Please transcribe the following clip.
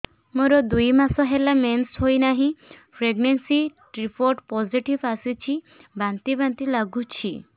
ମୋର ଦୁଇ ମାସ ହେଲା ମେନ୍ସେସ ହୋଇନାହିଁ ପ୍ରେଗନେନସି ରିପୋର୍ଟ ପୋସିଟିଭ ଆସିଛି ବାନ୍ତି ବାନ୍ତି ଲଗୁଛି